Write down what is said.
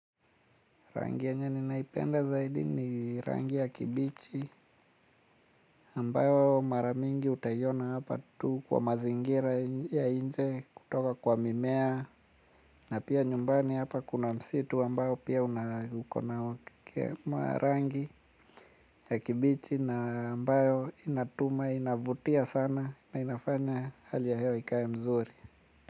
Rangi yenye nimeipenda zaidi ni rangi ya kibichi ambayo mara mingi utaiona hapa tu kwa mazingira ya nje kutoka kwa mimea. Na pia nyumbani hapa kuna msitu ambao pia huna ukona. Rangi ya kibichi na ambayo inatuma inavutia sana na inafanya hali ya hewa ikae mzuri.